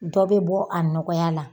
Dɔ bE bɔ a nɔgɔya la.